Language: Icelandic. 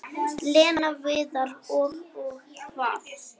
Lena, Viðar og- Og hvað?